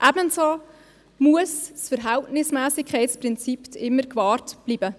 Ebenso muss das Verhältnismässigkeitsprinzip immer gewahrt bleiben.